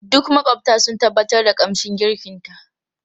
Duk makwabta sun tabbatar da kamshin girkinta.